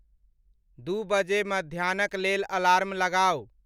दू बजे मध्याह्नक लेल अलार्म लगाऊ